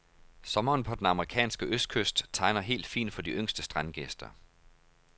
Sommeren på den amerikanske østkyst tegner helt fin for de yngste strandgæster.